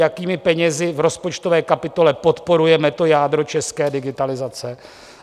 Jakými penězi v rozpočtové kapitole podporujeme to jádro české digitalizace?